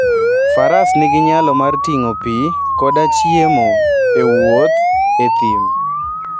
Faras nigi nyalo mar ting'o pi koda chiemo e wuoth e thim.